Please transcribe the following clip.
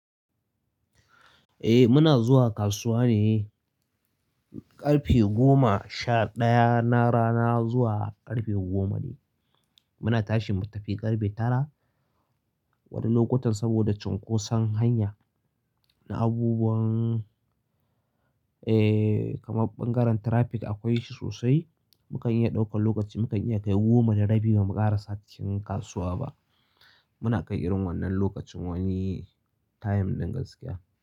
Eh muna zuwa kasuwa ne ƙarfe goma sha ɗaya na rana zuwa ƙarfe goma ne. Muna tashi mu tafi ƙarfe tara wani lokutan saboda cunkosan hanya na abubuwan, eh kamar ɓangaren traffic akwai shi sosai. Mukan iya ɗaukan lokaci, mu kan iya kai goma da rabi ba mu ƙara sa cikin kasuwa ba. Muna kai irin wannan lokacin wani time ɗin gaskiya.